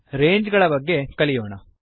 Rangesನ ಬಗ್ಗೆ ಕಲಿಯೋಣ